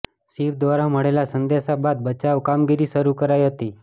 ship દ્વારા મળેલા સંદેશા બાદ બચાવ કામગીરી શરુ કરાઈ હતી